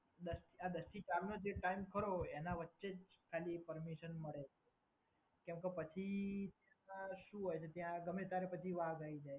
આ દસથી ચારનો જે ટાઈમ ખરો એના વચ્ચે જ ખાલી એ પરમીશન મળે. કેમકે પછી એમાં શું હોય છે ત્યાં ગમે તારે પછી વાઘ આઈ જાય.